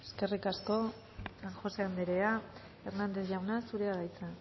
eskerrik asko san josé andrea hernández jauna zurea da hitza